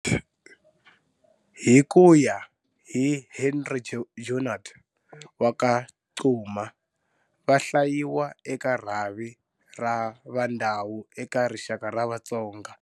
Hi ku ya hi Henri Junod va ka Cuma, va hlayiwa eka rhavi ra Va Vandau eka rixaka ra Vatsonga.